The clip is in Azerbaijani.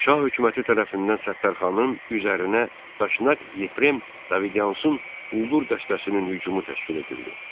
Şah hökuməti tərəfindən Səttarxanın üzərinə daşnaq Yefrem Davidyansın quldur dəstəsinin hücumu təşkil edildi.